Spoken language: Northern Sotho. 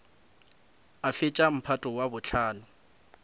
a fetša mphato wa bohlano